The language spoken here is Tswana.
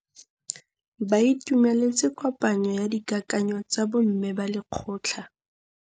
Ba itumeletse kôpanyo ya dikakanyô tsa bo mme ba lekgotla.